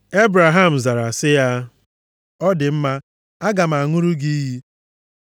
Ebraham zara sị ya, “Ọ dị mma, aga m aṅụrụ gị iyi.”